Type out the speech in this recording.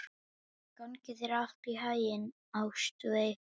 Gangi þér allt í haginn, Ástveig.